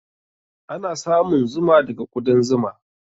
Ana samun zuma daga kuɗan zuma.